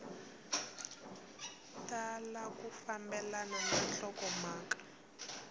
tala ku fambelana na nhlokomhaka